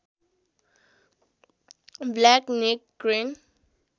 black necked crane